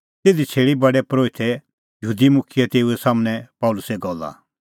तिधी छ़ेल़ी प्रधान परोहितै यहूदी मुखियै तेऊए सम्हनै पल़सीए गल्ला